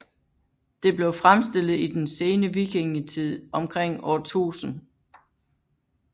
Det blev fremstillet i den sene vikingetid omkring år 1000